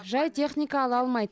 жай техника ала алмайды